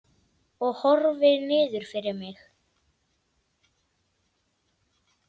Ég horfi niður fyrir mig.